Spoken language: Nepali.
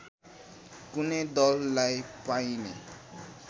कुनै दललाई पाइने